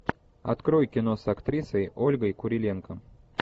открой кино с актрисой ольгой куриленко